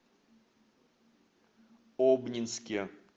обнинске